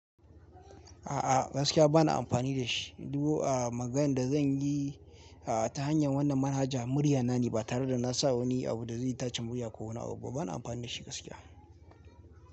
A'a gaskiya ba na amfani da shi duk maganar da zan yi ta hanyar wannan manhaja murya na ne ba tare da na sa wani abu da zai itacen murya ko wani abu ba, ba na amfani da shi gaskiya.